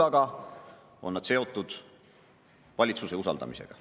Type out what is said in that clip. Samas on nad seotud valitsuse usaldamisega.